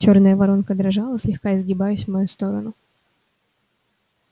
чёрная воронка дрожала слегка изгибаясь в мою сторону